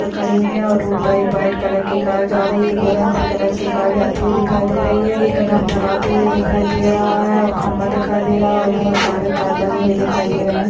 खड़ी हुई है और रोड पर एक वाइट कलर की कार जा रही है एक ऑरेंज से कलर की कार जाती हुई दिखाई दे रही है एक डंपर आते हुए दिखाई दे रहा है और खंभा दिखाई दे रहा है और बहोत सारे तार लगे हुए दिखाई दे रहे हैं।